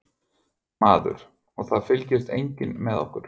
Maður: Og það fylgist enginn með okkur?